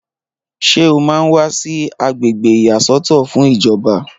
Ṣé o máa ń wà sí agbègbè ìyàsọ́tọ̀ fún ìjọba?